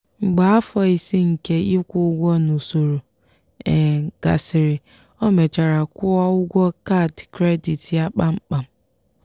mgbe afọ ise nke ịkwụ ụgwọ n'usoro gasịrị o mechara kwụọ ụgwọ kaadị kredit ya kpamkpam.